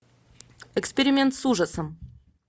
эксперимент с ужасом